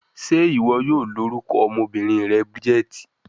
Ṣe iwọ yoo lorukọ ọmọbinrin rẹ Bridget?